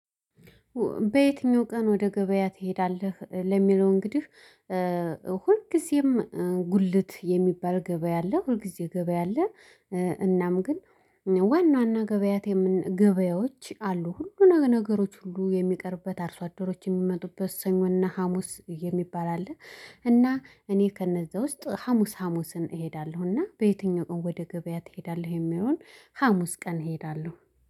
በየትኛው ቀን ወደ ገበያ ትሄዳለህ? ለሚለው እንግዲህ ሁልጊዜም ጉልት የሚባል ገበያ አለ። ሁልጊዜ ገበያ አለ። እናም ግን ዋና ዋና ገበያት የምን ገበያዎች አሉ ሁሉ ነገሮች ሁሉ የሚቀርብበት አርሶ አደሮች የሚመጡበት ሰኞና ሀሙስ የሚባል አለ። እና እኔ ከእነዛ ውስጥ ሀሙስ ሀሙስን እሄዳለሁ እና በየትኛውም ወደ ገበያ ትሄዳለህ የሚሆን ሀሙስ ቀን እሄዳለሁ።